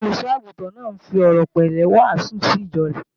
Olùṣọ́-àgùntàn náà ń fi ọ̀rọ̀ pẹ̀lẹ́pẹ̀lẹ́ wàásù sí ìjọ rẹ̀